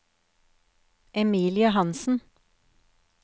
Emilie Hanssen